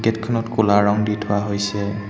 Gate খনত ক'লা ৰঙ দি থোৱা হৈছে।